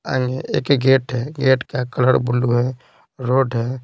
आगे एक गेट है गेट का कलर ब्लू है रोड है।